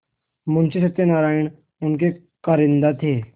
मुंशी सत्यनारायण उनके कारिंदा थे